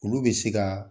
Olu bɛ se ka